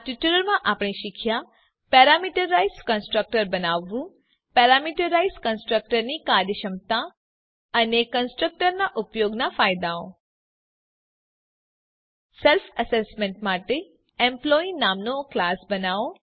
આ ટ્યુટોરીયલ માં આપણે શીખ્યા પેરામીટરાઈઝ કન્સ્ટ્રક્ટર બનાવવું પેરામીટરાઈઝ કન્સ્ટ્રક્ટર ની કાર્યક્ષમતા અને કન્સ્ટ્રક્ટરના ઉપયોગના ફાયદાઓ સેલ્ફ અસેસમેન્ટ માટે એમ્પ્લોયી નામનો ક્લાસ બનાઓ